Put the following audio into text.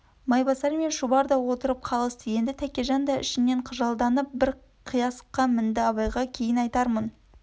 майбасар мен шұбар да отырып қалысты енді тәкежан да ішінен қыжалданып бір қиясқа мінді абайға кейін айтармын